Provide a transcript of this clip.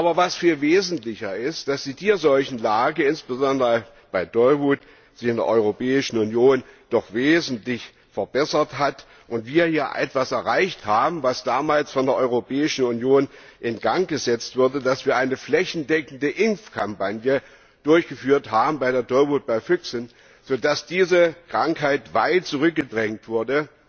Aber viel wesentlicher ist, dass sich die Tierseuchenlage, insbesondere bei Tollwut, in der Europäischen Union doch wesentlich verbessert hat und wir hier etwas erreicht haben, was damals von der Europäischen Union in Gang gesetzt wurde, dass wir eine flächendeckende Impfkampagne durchgeführt haben Tollwut bei Füchsen so dass diese Krankheit weit zurückgedrängt wurde